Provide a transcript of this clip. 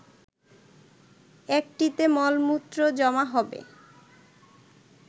একটিতে মলমূত্র জমা হবে